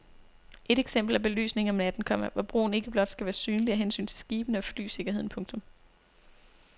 Et eksempel er belysningen om natten, komma hvor broen ikke blot skal være synlig af hensyn til skibene og flysikkerheden. punktum